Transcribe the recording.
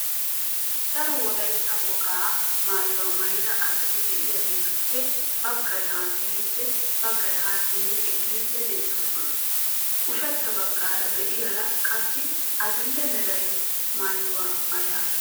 Daro wolayitta wogaa maayuwa maayida asati de"iyageetuppe baggay haasayiiddi baggay haa simmi xeelliiddi beettoosona. Ushachcha baggaara de"iyaara qassi adidhe mera maayuwa maayasu.